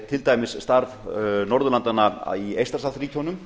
til dæmis starf norðurlandanna í eystrasaltsríkjunum